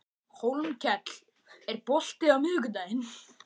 Hólmkell, er bolti á miðvikudaginn?